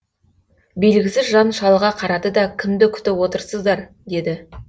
белгісіз жан шалға қарады да кімді күтіп отырсыздар деді